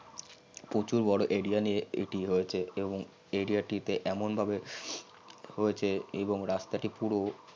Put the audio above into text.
প্রচুর বর area নিয়ে এটি হয়েছে এবং area টিতে এমন ভাবে হয়েছে এবং রাস্তাটি পুরো